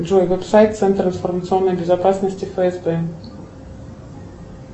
джой веб сайт центр информационной безопасности фсб